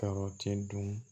Kɔrɔti dun